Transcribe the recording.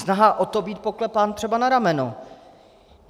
Snaha o to být poklepán třeba na rameno.